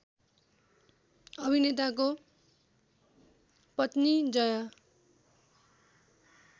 अभिनेताको पत्नी जया